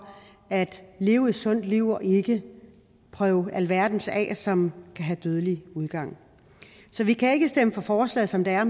at leve et sundt liv og ikke prøve alverdens ting af som kan have dødelig udgang så vi kan ikke stemme for forslaget som det er